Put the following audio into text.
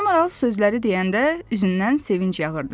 Ana Maral sözləri deyəndə üzündən sevinc yağırdı.